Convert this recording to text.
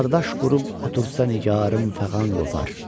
Bardaş qurub otursa nigarım fəğan qopar.